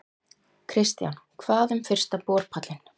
Kristján: Hvað um fyrsta borpallinn?